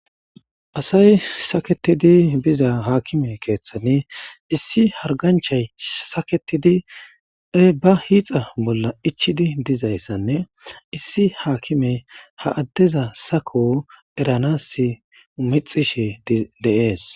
asay saketidi biza haakime keeththani issi harganchay saketidi ba hiixa bolla ichidi dizayssanne issi haakime ha addeza sako eranas mixishe de'es